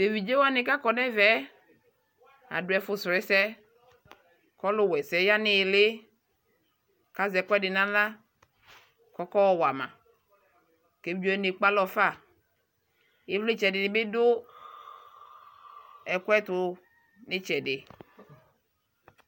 Teviɖʒe wani kakɔ nɛvɛɛ adu ɛfu srɔɔ ɛsɛ kɔluwɛsɛ yaa niyili kaʒɛkuɛdi nawla kɔkɔwama keviɖʒewani ekpealɔfa Ivlitsɛ dinibi du ɛkuɛtu nitsɛdi